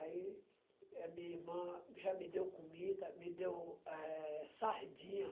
Aí, a minha irmã já me deu comida, me deu, eh, sardinha.